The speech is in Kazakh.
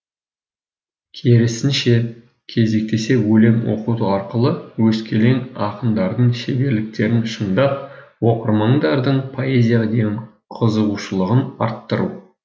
керісінше кезектесе өлең оқыту арқылы өскелең ақындардың шеберліктерін шыңдап оқырмандардың поэзияға деген қызығушылығын арттыру